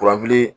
Kuranfili